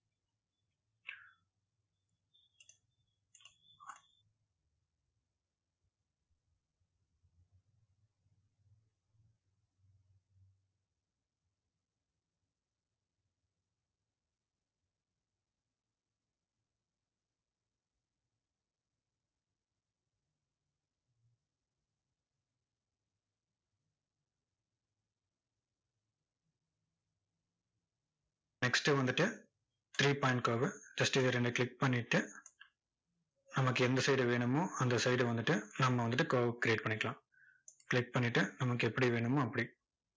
next வந்துட்டு three point curve just இதை நீங்க click பண்ணிட்டு, நமக்கு எந்த side வேணுமோ, அந்த side வந்துட்டு, நம்ம வந்துட்டு curve create பண்ணிக்கலாம் click பண்ணிட்டு நமக்கு எப்படி வேணுமோ, அப்படி.